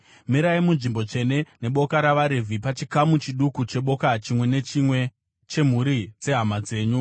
“Mirai munzvimbo tsvene neboka ravaRevhi pachikamu chiduku cheboka chimwe nechimwe chemhuri dzehama dzenyu.